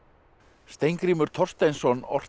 Steingrímur Thorsteinsson orti